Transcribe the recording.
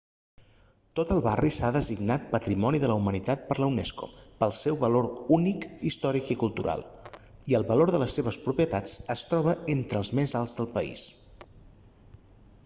tot el barri s'ha designat patrimoni de la humanitat per la unesco pel seu valor únic històric i cultural i el valor de les seves propietats es troba entre els més alts del país